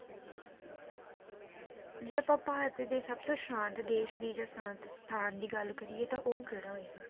ਜੇ ਆਪਾਂ ਭਾਰਤ ਦੀ ਸਬਤੋਂ ਸ਼ਾਂਤ ਦੇਸ਼ ਦੀ ਜਾਂ ਸ਼ਾਂਤ ਸਥਾਨ ਦੀ ਗੱਲ ਕਰੀਏ ਤਾਂ ਉਹ ਕਹਿੜਾ ਹੋਏਗਾ?